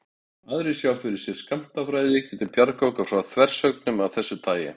Aðrir sjá fyrir sér að skammtafræði geti bjargað okkur frá þversögnum af þessu tagi.